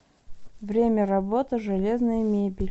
время работы железная мебель